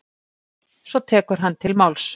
Svo tekur hann til máls: